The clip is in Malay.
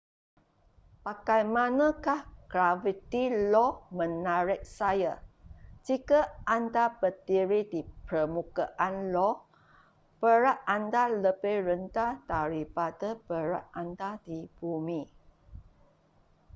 bagaimanakah graviti io menarik saya jika anda berdiri di permukaan io berat anda lebih rendah daripada berat anda di bumi